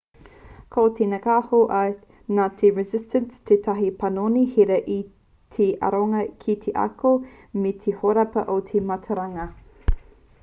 ko te ngako nā te renaissance tētahi panoni hira ki te aronga ki te ako me te hōrapa o te mātauranga